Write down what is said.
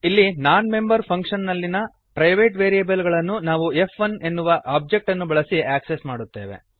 ಇಲ್ಲಿ non member function ನಲ್ಲಿಯ private ವೇರಿಯಬಲ್ಗಳನ್ನು ನಾವು ಫ್1 ಎನ್ನುವ ಓಬ್ಜೆಕ್ಟ್ ಅನ್ನು ಬಳಸಿ ಆಕ್ಸೆಸ್ ಮಾಡುತ್ತೇವೆ